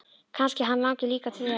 Kannski hann langi líka til þess!